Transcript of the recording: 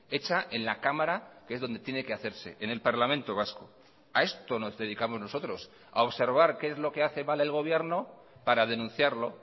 hecha en la cámara que es donde tiene que hacerse en el parlamento vasco a esto nos dedicamos nosotros a observar qué es lo que hace mal el gobierno para denunciarlo